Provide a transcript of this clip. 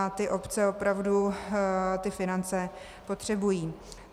A ty obce opravdu ty finance potřebují.